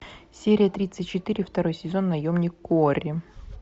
серия тридцать четыре второй сезон наемник куорри